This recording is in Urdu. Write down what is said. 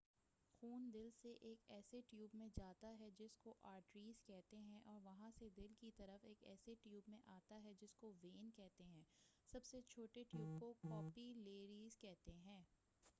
خون دل سے ایک ایسے ٹیوب میں جاتا ہے جس کو آرٹریز کہتے ہیں اور وہاں سے دل کی طرف ایک ایسے ٹیوب میں آتا ہے جس کو وین کہتے ہیں سب سے چھوٹے ٹیوب کو کاپی لریز کہتے ہیں